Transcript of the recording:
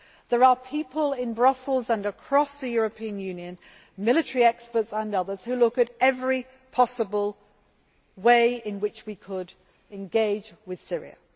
There are people in Brussels and across the European Union military experts and others who look at every possible way in which we could engage with Syria.